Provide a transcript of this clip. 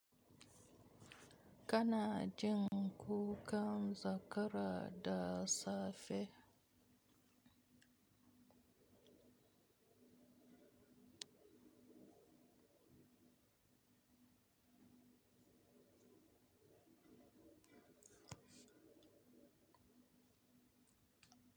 Kana jin kukan zakara da safe?